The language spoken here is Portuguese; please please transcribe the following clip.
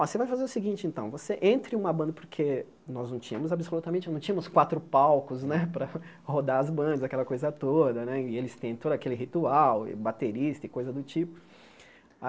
Ó, você vai fazer o seguinte então, você entre uma banda, porque nós não tínhamos absolutamente, não tínhamos quatro palcos, né, para rodar as bandas, aquela coisa toda, né, e eles têm todo aquele ritual, baterista e coisa do tipo. A